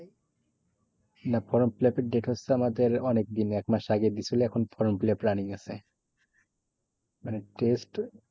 না form fill up করার fill up এর date হচ্ছে আমাদের অনেক দিন এক মাস আগে দিয়েছিলো এখন form fill up running আছে। মানে test